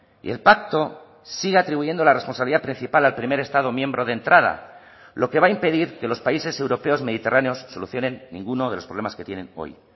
y el pacto sigue atribuyendo la responsabilidad principal al primer estado miembro de entrada lo que va a impedir que los países europeos mediterráneos solucionen ninguno de los problemas que tienen hoy